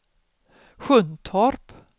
Sjuntorp